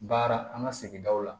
Baara an ka sigidaw la